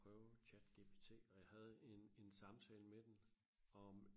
prøve ChatGPT og jeg havde en en samtale med den om